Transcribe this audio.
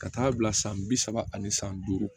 Ka taa bila san bi saba ani san duuru